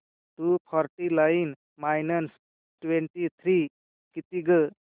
to forty nine minus twenty three किती गं